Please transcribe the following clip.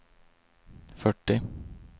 fyrtio